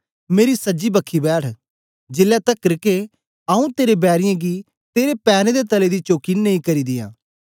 मेरी सजी बखी बैठ जेलै तकर के आऊँ तेरे बैरीयें गी तेरे पैरें दे तले दी चौकी नेई करी दियां